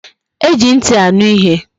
E ji nti aṅụ ihe